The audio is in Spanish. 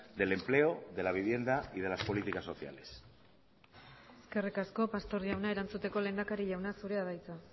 del empleo de la vivienda y de las políticas sociales eskerrik asko pastor jauna erantzuteko lehendakari jauna zurea da hitza